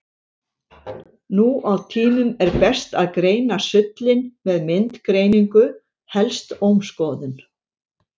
Nú á tímum er best að greina sullinn með myndgreiningu, helst ómskoðun.